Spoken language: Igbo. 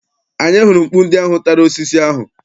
Anyị hụrụ mkpu ndị ahụ tara osisi ahụ.